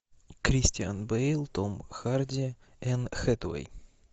кристиан бейл том харди энн хэтэуэй